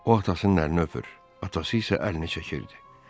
O atasının əlini öpür, atası isə əlini çəkirdi.